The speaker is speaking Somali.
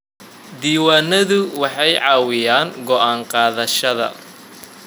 Diiwaanadu waxay caawiyaan go'aan qaadashada.